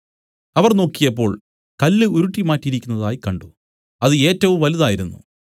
അവർ നോക്കിയപ്പോൾ കല്ല് ഉരുട്ടിമാറ്റിയിരിക്കുന്നതായി കണ്ട് അത് ഏറ്റവും വലുതായിരുന്നു